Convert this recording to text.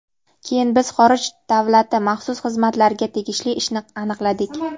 Keyin biz xorij [davlati] maxsus xizmatlariga tegishli ishni aniqladik.